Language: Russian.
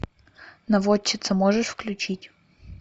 наводчица можешь включить